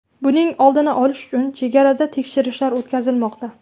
Buning oldini olish uchun chegarada tekshirishlar o‘tkazilmoqda.